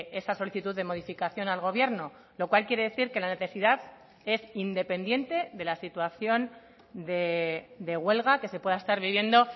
esa solicitud de modificación al gobierno lo cual quiere decir que la necesidad es independiente de la situación de huelga que se pueda estar viviendo